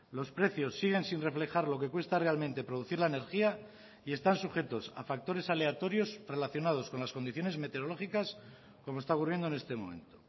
los precios siguen sin reflejar lo que cuesta realmente producir la energía y están sujetos a factores aleatorios relacionados con las condiciones meteorológicas como está ocurriendo en este momento